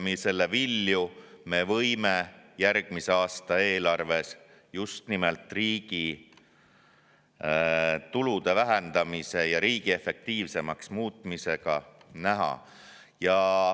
Selle vilju me võime järgmise aasta eelarves just nimelt riigi tulude vähendamisel ja riigi efektiivsemaks muutmisel näha.